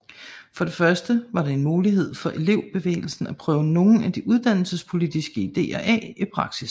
For det første var det en mulighed for elevbevægelsen for at prøve nogle af de uddannelsespolitiske ideer af i praksis